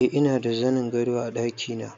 Eh ina da zanin gado a ɗakina